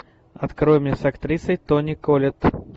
открой мне с актрисой тони коллетт